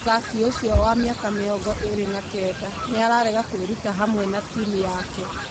Mũthaki ũcio wa mĩaka mĩrongo ĩrĩ na kenda nĩararega kwĩruta hamwe na timu yake